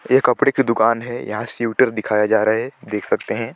ये कपड़े की दुकान है यहाँ स्वेटर दिखाया जा रहा हैं देख सकते है।